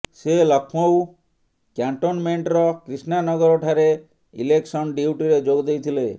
ସେ ଲକ୍ଷ୍ନୌ କ୍ୟାଣ୍ଟନମେଣ୍ଟର କ୍ରିଷ୍ଣାନଗର ଠାରେ ଇଲେକ୍ସନ୍ ଡ୍ୟୁଟିରେ ଯୋଗ ଦେଇଥିଲେ